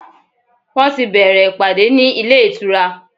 Wọ́n ti bẹ̀ẹ̀rẹ̀ ìpàdé ní ilé ìtura.